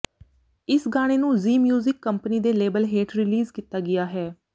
ਇਸ ਗਾਣੇ ਨੂੰ ਜ਼ੀ ਮਿਊਜ਼ਿਕ ਕੰਪਨੀ ਦੇ ਲੇਬਲ ਹੇਠ ਰਿਲੀਜ਼ ਕੀਤਾ ਗਿਆ ਹੈ